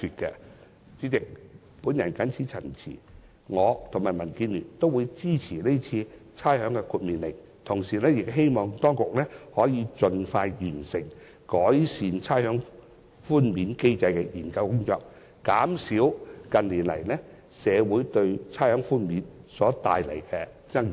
我和民主建港協進聯盟均會支持這項《命令》，同時希望當局可以盡快完成改善差餉寬免機制的研究工作，減少近年社會對差餉寬免所帶來的爭議。